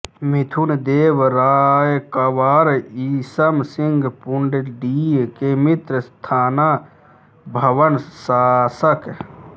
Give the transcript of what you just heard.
मिथुन देव रायकवार ईसम सिंह पुण्डीर के मित्र थाना भवन शासक